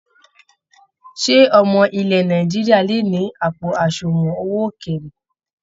Ṣé ọmọ ilẹ̀ Nàìjíríà lè ni àpò àsùnwọ̀n owó ókéré?